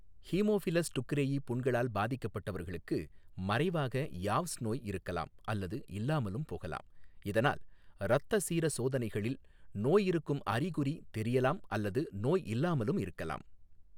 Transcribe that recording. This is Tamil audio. ஹீமோஃபிலஸ் டுக்ரேயி புண்களால் பாதிக்கப்பட்டவர்களுக்கு மறைவாக யாவ்ஸ் நோய் இருக்கலாம் அல்லது இல்லாமலும் போகலாம், இதனால் இரத்த சீர சோதனைகளில் நோய் இருக்கும் அறிகுறி தெரியலாம் அல்லது நோய் இல்லாமலும் இருக்கலாம்.